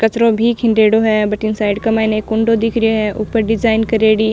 कंचरो भी है भटीन साइड का माइन एक कुंडो दिख रे है ऊपर डिजाइन करेड़ी।